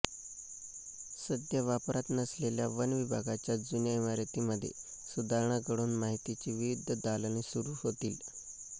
सध्या वापरात नसलेल्या वन विभागाच्या जुन्या इमारतींमध्ये सुधारणा घडवून माहितीची विविध दालने सुरू होतील